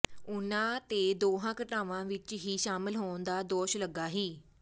ਉਹਨਾਂ ਤੇ ਦੋਹਾਂ ਘਟਨਾਵਾਂ ਵਿਚ ਹੀ ਸ਼ਾਮਲ ਹੋਣ ਦਾ ਦੋਸ਼ ਲਗਾ ਸੀ